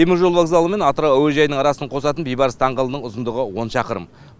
теміржол вокзалы мен атырау әуежайын қосатын бейбарыс даңғылдың ұзындығы он шақырым